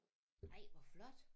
Ej hvor flot